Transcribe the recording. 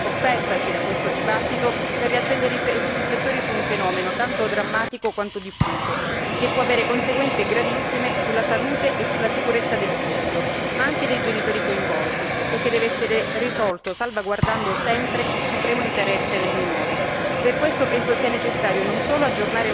Occorre però a mio avviso approfittare dell'occasione offertaci da questo dibattito per riaccendere i riflettori su un fenomeno tanto drammatico quanto diffuso, che può avere conseguenze gravissime sulla salute e sulla sicurezza del figlio, ma anche dei genitori coinvolti, e che deve essere risolto salvaguardando sempre il supremo interesse del minore.